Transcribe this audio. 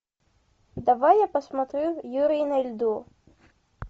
давай я посмотрю юрий на льду